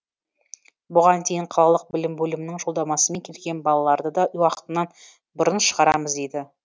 бұған дейін қалалық білім бөлімінің жолдамасымен келген балаларды да уақытынан бұрын шығарамыз дейді